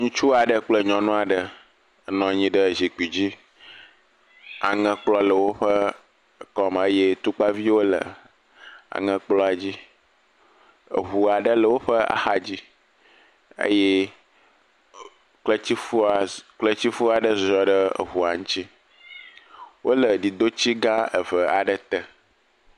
Ŋutsu aɖe kple nyɔnu aɖe nɔ nyi ɖe zikpui dzi. Aŋekplɔ le woƒe kɔ me, eye tukpaviwo le aŋekplɔa dzi. Eŋu aɖe le woƒe axa dzi, eye kletifoa kletifo aɖe ziɔ ɖe eŋua ŋtsi. Wole didotsi gã eve aɖe te.